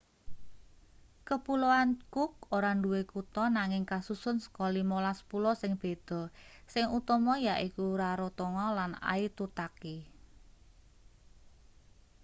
kepuloan cook ora duwe kutha nanging kasusun saka 15 pulau sing beda sing utama yaiku rarotonga lan aitutaki